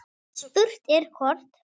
Spurt er hvort